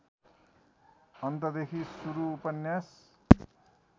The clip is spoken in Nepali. अन्तदेखि सुरु उपन्यास